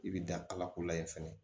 I bɛ dan ala ko layi fɛnɛ